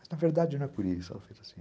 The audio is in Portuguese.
Mas na verdade não é por isso.